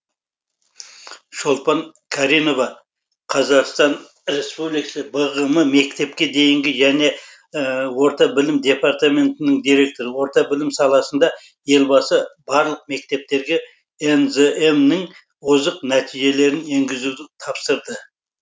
шолпан каринова қазақстан республикасы бғм мектепке дейінгі және орта білім департаментінің директоры орта білім саласында елбасы барлық меткептерге нзм нің озық нәтижелерін енгізуді тапсырды